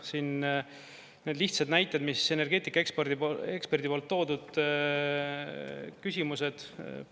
Need lihtsad näited, mis energeetikaeksperdi poolt toodud küsimused.